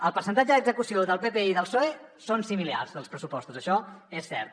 el percentatge d’execució del pp i del psoe és similar dels pressupostos això és cert